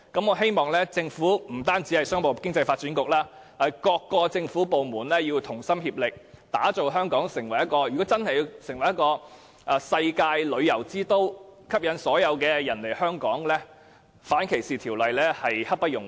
我希望政府，不單是商務及經濟發展局，而是各政府部門均能同心協力，打造香港成為世界旅遊之都，而要令香港成為世界旅遊之都，吸引所有人來香港，訂立反性傾向歧視法例實在刻不容緩。